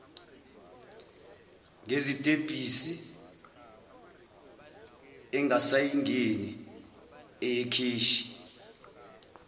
ngezitebhisi engasayingeni eyekheshi